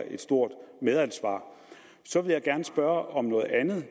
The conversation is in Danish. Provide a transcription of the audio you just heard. et stort medansvar så vil jeg spørge om noget andet